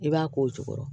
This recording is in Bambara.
I b'a k'o jukɔrɔ